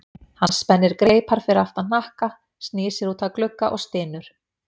Hann spennir greipar fyrir aftan hnakka, snýr sér út að glugga og stynur.